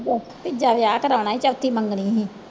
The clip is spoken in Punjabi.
ਜਾ ਤੀਜਾ ਵਿਆਹ ਕਰਵਾਉਣਾ ਸੀ ਚੌਥੀ ਮੰਗਣੀ ਸੀ।